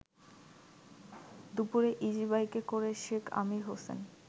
দুপুরে ইজিবাইকে করে শেখ আমির হোসেন